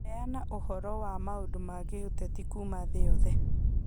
Heana ũhoro wa maũndũ ma gĩũteti kuuma thĩ yothe.